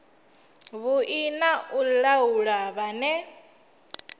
vhui na u laula vhane